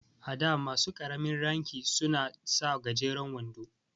A da masu ƙaramin ranki suna sa gajeren wando.